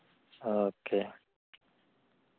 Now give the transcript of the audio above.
ആ okay.